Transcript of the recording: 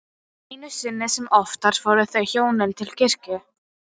Einu sinni sem oftar fóru þau hjónin til kirkju.